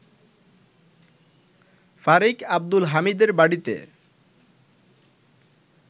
ফারিক আব্দুল হামিদের বাড়িতে